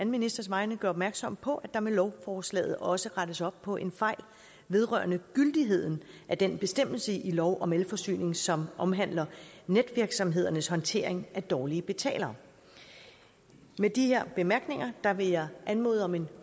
ministers vegne gøre opmærksom på at der med lovforslaget også rettes op på en fejl vedrørende gyldigheden af den bestemmelse i lov om elforsyning som omhandler netvirksomhedernes håndtering af dårlige betalere med de bemærkninger vil jeg anmode om en